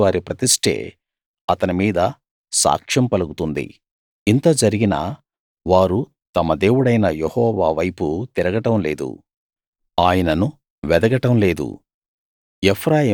ఇశ్రాయేలువారి ప్రతిష్టే అతని మీద సాక్ష్యం పలుకుతుంది ఇంత జరిగినా వారు తమ దేవుడైన యెహోవా వైపు తిరుగడం లేదు ఆయనను వెతకడం లేదు